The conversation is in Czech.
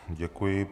Děkuji.